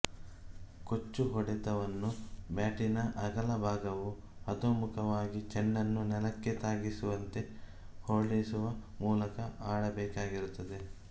ಕೊಚ್ಚು ಹೊಡೆತವನ್ನು ಬ್ಯಾಟಿನ ಅಗಲಭಾಗವು ಅಧೋಮುಖವಾಗಿ ಚೆಂಡನ್ನು ನೆಲಕ್ಕೆ ತಾಗಿಸುವಂತೆ ಹೊರಳಿಸುವ ಮೂಲಕ ಆಡಬೇಕಾಗಿರುತ್ತದೆ